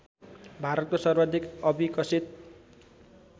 भारतको सर्वाधिक अविकसित